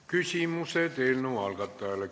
Küsimused eelnõu algatajale.